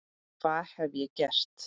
Hvað hef ég gert?